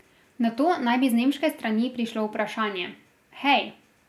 Nato naj bi z nemške strani prišlo vprašanje: 'Hej!